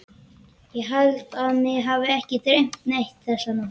Ég held að mig hafi ekki dreymt neitt þessa nótt.